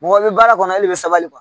Mɔgɔ i bɛ baara kɔnɔ, ele bɛ sabali